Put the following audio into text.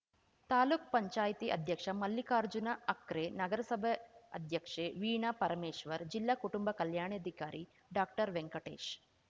ತಾಲೂಕ್ ಪಂಚಾಯ್ತಿ ಅಧ್ಯಕ್ಷ ಮಲ್ಲಿಕಾರ್ಜುನ ಹಕ್ರೆ ನಗರಸಭೆ ಅಧ್ಯಕ್ಷೆ ವೀಣಾ ಪರಮೇಶ್ವರ್‌ ಜಿಲ್ಲಾ ಕುಟುಂಬ ಕಲ್ಯಾಣಾಧಿಕಾರಿ ಡಾಕ್ಟರ್ವೆಂಕಟೇಶ್‌